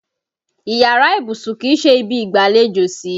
Iyàrá ibùsùn kì í ṣe ibi ìgbàlejò sí.